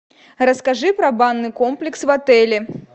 расскажи про банный комплекс в отеле